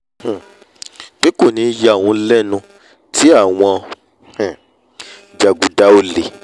um pé kò ní yà òun lẹ́nu tí àwọn um jàgùdà olè